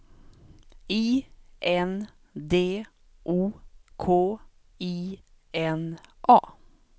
I N D O K I N A